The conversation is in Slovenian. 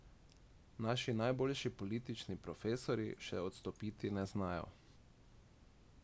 Naši najboljši politični profesorji še odstopiti ne znajo.